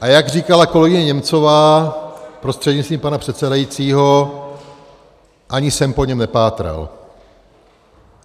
A jak říkala kolegyně Němcová prostřednictvím pana předsedajícího, ani jsem po něm nepátral.